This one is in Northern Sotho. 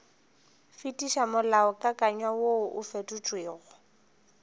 fetiša molaokakanywa woo o fetotšwego